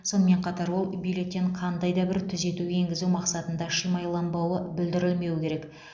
сонымен қатар ол бюллетен қандай да бір түзету енгізу мақсатында шимайланбауы бүлдірілмеуі керек